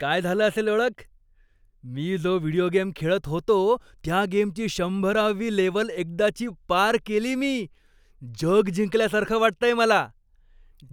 काय झालं असेल ओळख? मी जो व्हिडिओ गेम खेळत होतो त्या गेमची शंभरावी लेव्हल एकदाची पार केली मी! जग जिंकल्यासारखं वाटतंय मला.